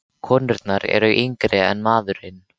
Konurnar eru nokkru yngri en maðurinn.